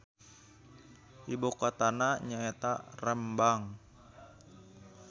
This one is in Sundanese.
Ibukotana nyaeta Rembang.